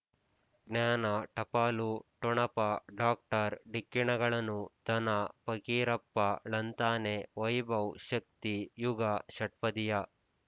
ಜ್ಞಾನ ಟಪಾಲು ಠೊಣಪ ಡಾಕ್ಟರ್ ಢಿಕ್ಕಿ ಣಗಳನು ಧನ ಫಕೀರಪ್ಪ ಳಂತಾನೆ ವೈಭವ್ ಶಕ್ತಿ ಝಗಾ ಷಟ್ಪದಿಯ